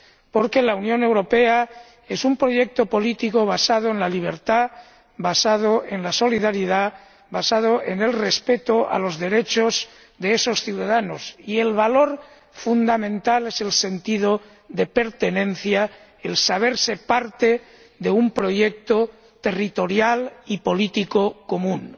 Porque la Unión Europea es un proyecto político basado en la libertad, basado en la solidaridad, basado en el respeto de los derechos de esos ciudadanos, y el valor fundamental es el sentido de pertenencia, el saberse parte de un proyecto territorial y político común.